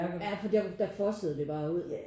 Jah fordi der der fossede det bare ud